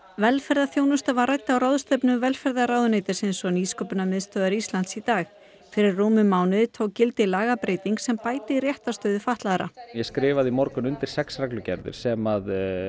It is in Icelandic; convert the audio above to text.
velferðarþjónusta var rædd á ráðstefnu velferðarráðuneytisins og Nýsköpunarmiðstöðvar Íslands í dag fyrir rúmum mánuði tók gildi lagabreyting sem bætir réttarstöðu fatlaðra ég skrifaði í morgun undir sex reglugerðir sem